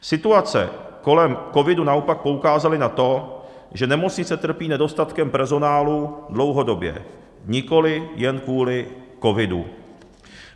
Situace kolem covidu naopak poukázaly na to, že nemocnice trpí nedostatkem personálu dlouhodobě, nikoliv jen kvůli covidu.